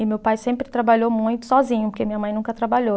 E meu pai sempre trabalhou muito sozinho, porque minha mãe nunca trabalhou.